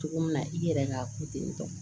Cogo min na i yɛrɛ ka ko ten tɔ